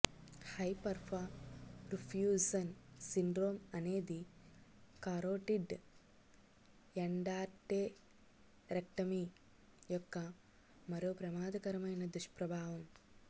hyperperfusion syndrome అనేది carotid endarterectomy యొక్క మరొక ప్రమాదకరమైన దుష్ప్రభావం